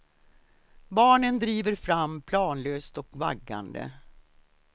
Barnen driver fram planlöst och vaggande.